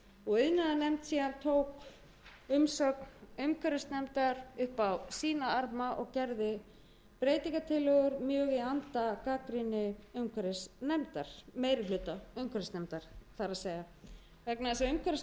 og iðnaðarnefnd tók síðan umsögn umhverfisnefndar upp á sína arma og gerði breytingartillögur mjög í anda meiri hluta umhverfisnefndar vegna þess að umhverfisnefnd skilaði í heilu